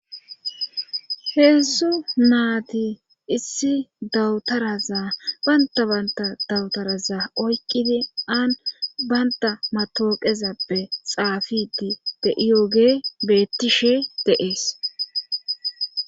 heessu naati issi dawutarazaa banta banta dawutaraza oykkidi aan baynta matooqezappe xaafidi de7iyoge beettishe deees